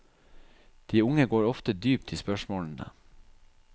De unge går ofte dypt i spørsmålene.